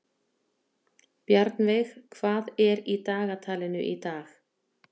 Bjarnveig, hvað er í dagatalinu í dag?